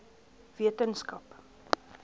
wetenskap